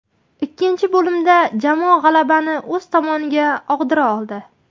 Ikkinchi bo‘limda jamoa g‘alabani o‘z tomoniga og‘dira oldi.